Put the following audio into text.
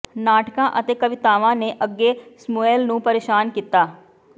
ਨਾਟਕਾਂ ਅਤੇ ਕਵਿਤਾਵਾਂ ਨੇ ਅੱਗੇ ਸਮੂਏਲ ਨੂੰ ਪਰੇਸ਼ਾਨ ਕੀਤਾ